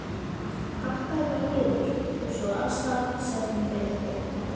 Pakkaðu bara niður, og svo af stað! sagði hún hvetjandi.